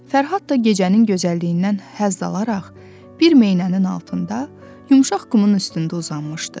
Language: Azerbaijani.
Fərhad da gecənin gözəlliyindən həzz alaraq bir meynənin altında yumşaq qumun üstündə uzanmışdı.